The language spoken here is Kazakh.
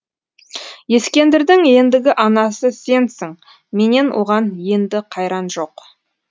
ескендірдің ендігі анасы сенсің менен оған енді қайран жоқ